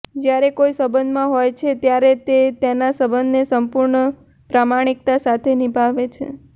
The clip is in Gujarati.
જ્યારે કોઈ સંબંધમાં હોય છે ત્યારે તે તેના સંબંધને સંપૂર્ણ પ્રામાણિકતા સાથે નિભાવે છે